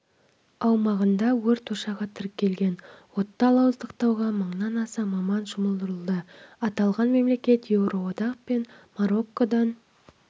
аумағында өрт ошағы тіркелген отты ауыздықтауға мыңнан аса маман жұмылдырылды аталған мемлекет еуроодақ пен мароккодан